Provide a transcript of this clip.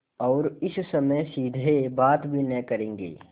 और इस समय सीधे बात भी न करेंगे